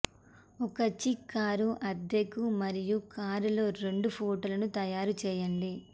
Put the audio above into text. ఒక చిక్ కారు అద్దెకు మరియు కారులో రెండు ఫోటోలను తయారు చేయండి